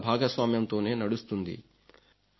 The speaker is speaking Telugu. జనుల భాగస్వామ్యంతోనే నడుస్తుంది